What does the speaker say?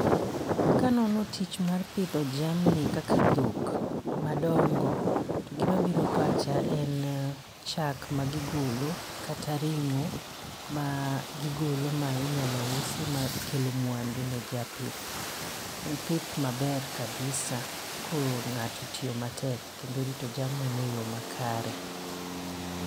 Kanono tich mar pidho jamni kaka dhok madongo to gimabiro pacha en chak magiogolo kata ring'o magigolo ma inyalo usi makelo mwandu ne japith. En pith maber kabisa ko ng'ato otiyo matek kendo orito jamnine e yo makare.